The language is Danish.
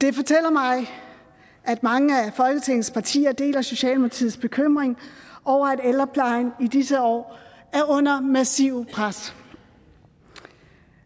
det fortæller mig at mange af folketingets partier deler socialdemokratiets bekymring over at ældreplejen i disse år er under massivt pres